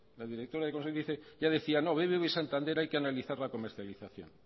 la directora de consumo dice no bbv y santander hay que analizar la comercialización